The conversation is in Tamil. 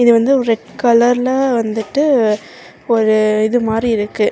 இது வந்து ஒரு ரெட் கலர்ல வந்துட்டு ஒரு இது மாறி இருக்கு.